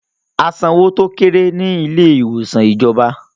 A san owó tó kéré ní ilé ìwòsàn ìjọba